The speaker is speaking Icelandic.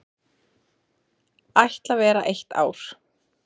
Ætla vera eitt ár.